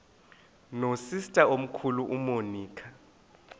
nosister omkhulu umonica